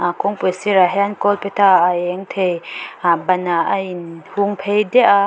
a kawngpui sirah hian kawlphe tha a eng thei ah banah a in hungphei diah a--